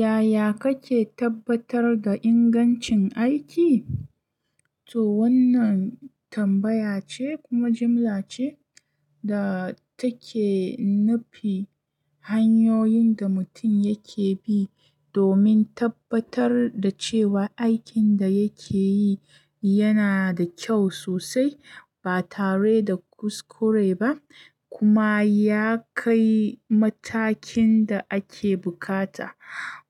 Yaya kake tabbatar da ingancin aiki? To wannan tambaya ce kuma jimla ce da take nufi hanyoyin da mutum yake bi domin tabbatar da cewa aikin da yake yi yana da kyau sosai ba tare da kuskure ba kuma ya kai matakin da ake bukata.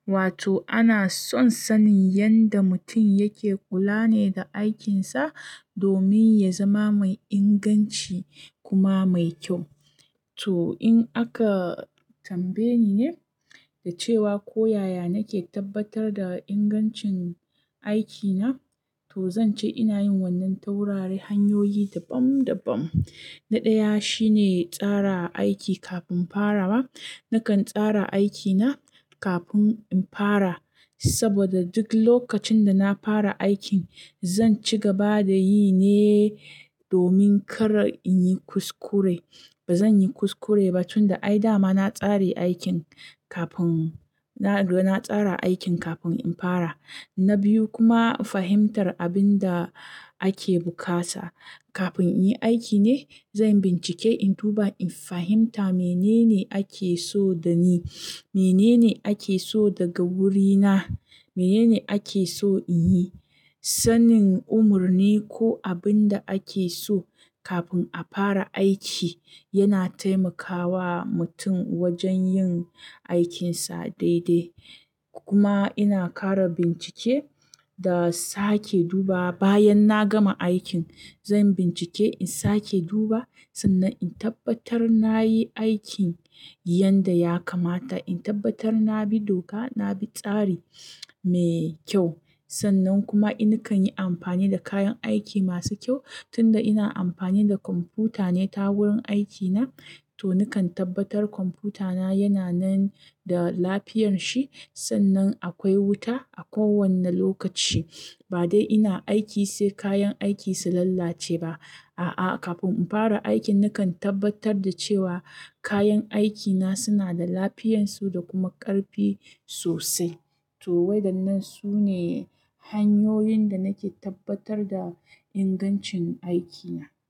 Wato ana son sanin yanda mutum yake kula ne da aikinsa domin ya zama mai inganci kuma mai kyau. To in aka tambaye ni ne da cewa ko yaya nake tabbatar da ingancin aikina, to zan ce ina yin wannan tawurare hanyoyi daban-daban. Na ɗaya shine tsara aiki kafin farawa. Nakan tsara aikina kafin in fara saboda duk lokacin da na fara aikin zan ci gaba da yi ne domin kar in yi kuskure. Ba zan yi kuskure ba tunda ai dama na tsare aikin kafin, na tsara aikin kafin in fara. Na biyu kuma fahimtar abin da ake bukata. Kafin in yi aiki ne zan bincike in duba in fahimta menene ake so da ni, menene ake so daga wurina, menene ake so in yi. Sanin umurni ko abinda ake so kafin a fara aiki yana taimakawa mutum wajen yin aikinsa daidai kuma ina kara bincike da sake dubawa bayan na gama aikin. Zan bincike in sake duba sannan in tabbatar na yi aikin yanda ya kamata, in tabbatar na bi doka, na bi tsari mai kyau. Sannan kuma nakan yi amfani da kayan aiki masu kyau. Tun da ina amfani da kwamfuta ne ta wurin aikina to nakan tabbatar kwamfutana yana nan da lafiyar shi. Sannan akwai wuta a kowane lokaci. Ba dai ina aiki sai kayan aiki su lalace ba. A'a, kafin in fara aikin nakan tabbatar da cewa kayan aikina suna da lafiyarsu da kuma ƙarfi sosai. To waidannan su ne hanyoyin da nake tabbatar da ingancin aikina.